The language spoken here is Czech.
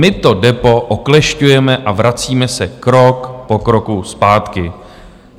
My to DEPO oklešťujeme a vracíme se krok po kroku zpátky.